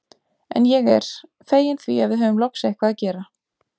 En ég er. feginn því að við höfum loks eitthvað að gera.